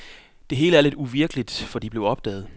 Det hele er lidt uvirkeligt, for de blev opdaget.